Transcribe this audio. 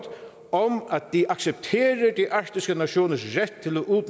de accepterer de arktiske nationers